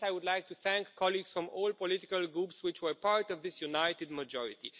For this I would like to thank colleagues from all political groups which were part of this united majority.